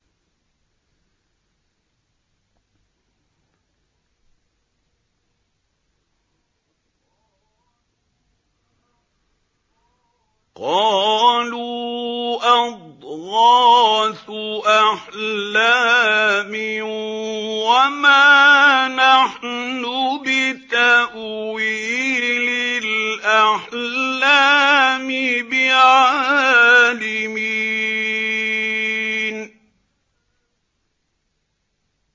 قَالُوا أَضْغَاثُ أَحْلَامٍ ۖ وَمَا نَحْنُ بِتَأْوِيلِ الْأَحْلَامِ بِعَالِمِينَ